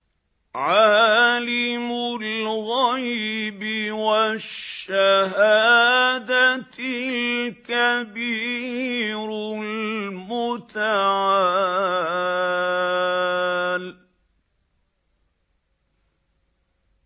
عَالِمُ الْغَيْبِ وَالشَّهَادَةِ الْكَبِيرُ الْمُتَعَالِ